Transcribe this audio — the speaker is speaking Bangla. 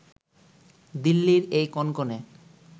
দিল্লির এই কনকনে